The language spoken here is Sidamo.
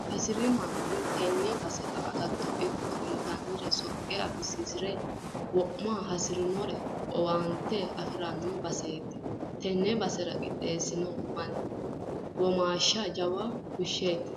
Hasiri manni tene basera agatto ikko intannire soqqe abbisiisire wo'ma hasiisinosi owaante afirano baseti tene base qixxeesi manni womaashsha jawa fushsheti.